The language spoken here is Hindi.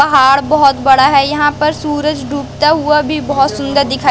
पहाड़ बहोत बड़ा है। यहां पर सूरज डूबता हुआ भी बहोत सुंदर दिखाई--